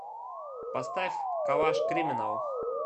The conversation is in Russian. поставь калаш криминал